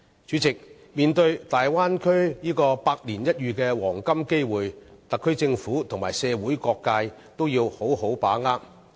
主席，面對大灣區帶來百年一遇的黃金機會，特區政府和社會各界也要好好把握。